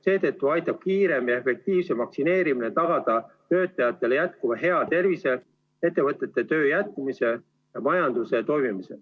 Seetõttu aitab kiirem ja efektiivsem vaktsineerimine tagada töötajatele hea tervise, ettevõtete töö jätkumise ja majanduse toimimise.